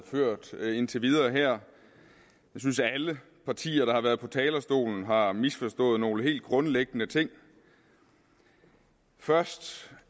ført indtil videre jeg synes at alle partier der har været på talerstolen har misforstået nogle helt grundlæggende ting først